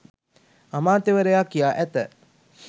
අමාත්‍යවරයා කියා ඇත